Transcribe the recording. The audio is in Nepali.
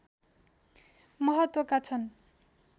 महत्त्वका छन्